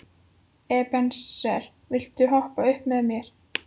Ebeneser, viltu hoppa með mér?